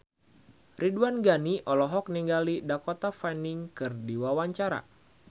Ridwan Ghani olohok ningali Dakota Fanning keur diwawancara